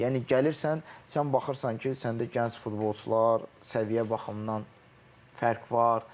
Yəni gəlirsən sən baxırsan ki, səndə gənc futbolçular səviyyə baxımından fərq var.